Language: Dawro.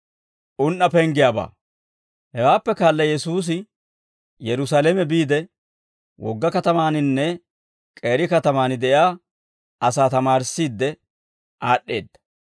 Hewaappe kaala Yesuusi Yerusaalame biide, wogga katamaaninne k'eeri katamaan de'iyaa asaa tamaarissiidde aad'd'eedda.